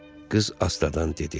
Qız astadan dedi.